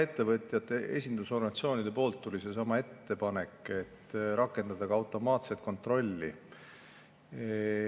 Ettevõtjate esindusorganisatsioonidelt tuli seesama ettepanek: rakendada ka automaatset kontrolli.